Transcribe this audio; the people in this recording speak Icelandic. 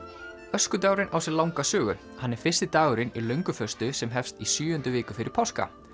öskudagurinn á sér langa sögu hann er fyrsti dagurinn í lönguföstu sem hefst í sjöundu viku fyrir páska